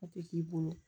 A tɛ k'i bolo